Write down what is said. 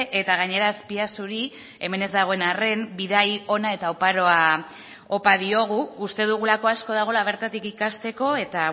eta gainera azpiazuri hemen ez dagoen arren bidai ona eta oparoa opa diogu uste dugulako asko dagoela bertatik ikasteko eta